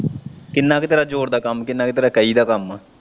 ਕਿੰਨਾ ਕ ਤੇਰਾ ਜੋਰ ਦਾ ਕੰਮ, ਕਿੰਨਾ ਕ ਤੇਰਾ ਕਹੀ ਦਾ ਕੰਮ।